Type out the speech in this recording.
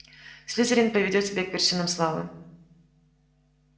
слизерин поведёт тебя к вершинам славы